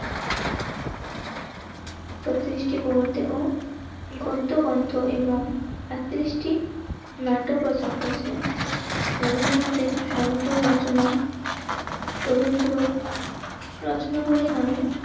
বত্রিশটি গ্রহতে ও গদ্য গ্রন্থ এবং আটত্রিশটি নাটক রচনা করেছিলেন. রবীন্দ্রনাথের সমগ্র রচনা রবীন্দ্র রচনাবলী নামে অতি